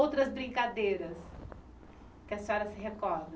Outras brincadeiras que a senhora se recorda?